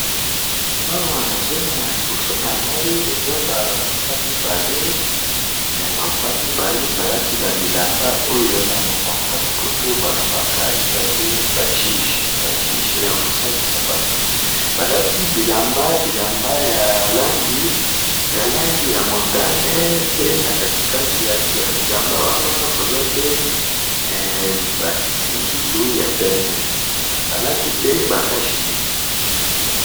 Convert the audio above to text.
Na moni ba juges mine, ba lati bilamba ya motane na kati pembe, ba lati pe ba casn nez.